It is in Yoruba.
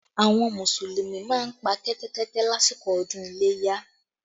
Àwọn Mùsùlùmí máa ń pa Kẹ́tẹ́kẹ́tẹ́ lásìkò ọdún iléyá